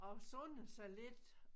Og sundede sig lidt